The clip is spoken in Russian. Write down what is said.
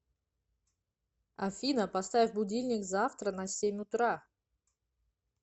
афина поставь будильник завтра на семь утра